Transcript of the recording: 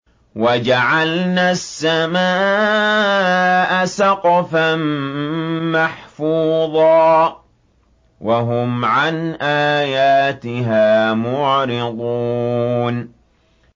وَجَعَلْنَا السَّمَاءَ سَقْفًا مَّحْفُوظًا ۖ وَهُمْ عَنْ آيَاتِهَا مُعْرِضُونَ